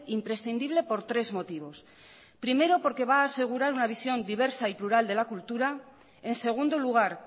imprescindible por tres motivos primero porque va a asegurar una visión diversa y plural de la cultura en segundo lugar